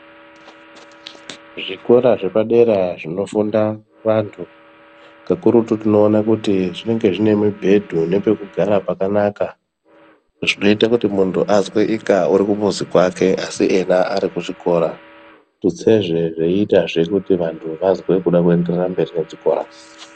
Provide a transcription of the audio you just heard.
Zvikora zvepadera zvinofunda antu, kakurutu tinoona kuti zvine mubhedhu nepekugara pakanaka zvinoite kuti muntu azweika ari kumuzi kwake asi ena ari kuchikora tutsezve muntu azwe kuda kuenderera mberi nechikora.